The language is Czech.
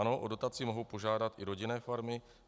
Ano, o dotaci mohou požádat i rodinné farmy.